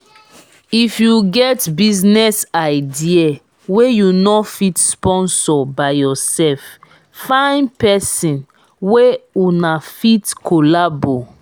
if you get business idea wey you no fit sponsor by yourself find person wey una fit collabo